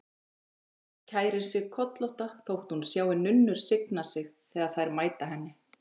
Gerður kærir sig kollótta þótt hún sjái nunnur signa sig þegar þær mæta henni.